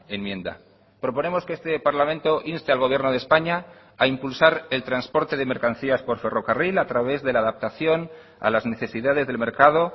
enmienda proponemos que este parlamento inste al gobierno de españa ha impulsar el transporte de mercancías por ferrocarril a través de la adaptación a las necesidades del mercado